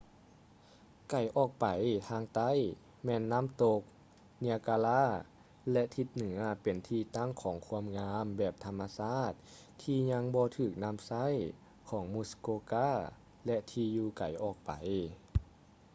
ໄກອອກໄປທາງໃຕ້ ແມ່ນນ້ຳຕົກ ເນຍກາຣາ niagara ແລະ ທິດ ເໜືອເປັນທີ່ຕັ້ງຂອງຄວາມງາມແບບທຳມະຊາດທີ່ຍັງບໍ່ຖືກນຳໃຊ້ ຂອງ ມຸສ໌ໂກກາ muskoka ແລະ ທີ່ຢູ່ໄກອອກໄປ